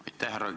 Aitäh!